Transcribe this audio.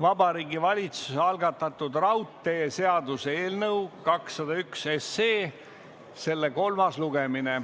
Vabariigi Valitsuse algatatud raudteeseaduse eelnõu 201 kolmas lugemine.